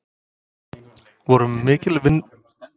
Voru mikil vonbrigði að falla með Völsungi í sumar?